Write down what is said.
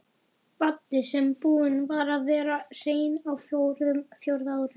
Baddi sem búinn var að vera hreinn á fjórða ár.